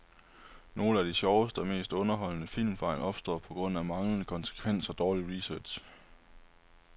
Nogle af de sjoveste og mest underholdende filmfejl opstår på grund af manglende konsekvens og dårlig research.